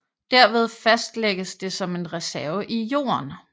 Derved fastlægges det som en reserve i jorden